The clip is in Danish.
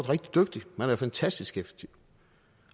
rigtig dygtigt man er fantastisk effektiv